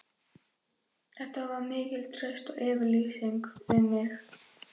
Þetta var mikil trausts yfirlýsing við mig.